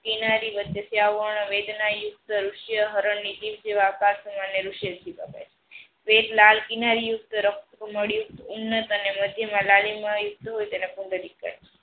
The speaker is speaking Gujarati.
કિનારી વચ્ચે થી અવર્ણ વેદના રૂસયા હરણ વેટ લાલ કિનારી યુક્ત રક્ત મડિયું ઉન્નત અને કહે.